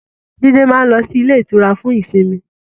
Jídé máa ń lọ sí ilé-ìtura fún ìsimi.